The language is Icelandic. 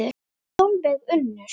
Sólveig Unnur.